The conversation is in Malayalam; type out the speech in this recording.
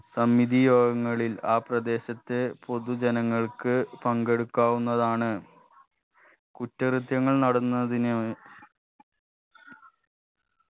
സമിതി യോഗങ്ങളിൽ ആ പ്രദേശത്തെ പൊതുജനങ്ങൾക്ക് പങ്കെടുക്കാവുന്നതാണ് കുറ്റകൃത്യങ്ങൾ നടന്നതിന്